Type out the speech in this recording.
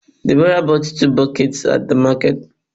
Deborah bought two buckets at the market